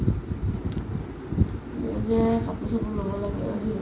অ, কাপুৰ চাপুৰ ল'ব লাগে আৰু